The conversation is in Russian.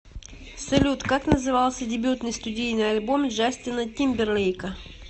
салют как назывался дебютный студийный альбом джастина тимберлейка